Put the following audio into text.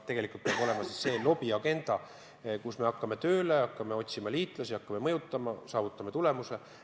Tegelikult peab olema lobiagenda: me hakkame tööle, hakkame otsima liitlasi, hakkame mõjutama ja saavutame tulemuse.